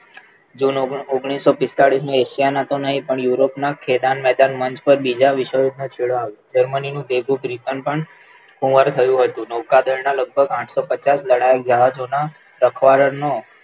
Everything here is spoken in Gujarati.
જૂન ઓગણીસો પિસ્તાલીસ ની એશિયાના નહીં પણ Europe ના ખેદાન મેદાન મંચ ઉપર બીજા વિશ્વયુદ્ધ નો છેડો આવ્યો જર્મનીનું ભેગુ પણ કુવર થયું હતું નૌકાદળના લગભગ આઠસો પચાસ લડાઈ જહાજોના સથવારા નો